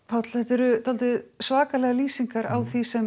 Páll þetta eru dálítið svakalegar lýsingar á því sem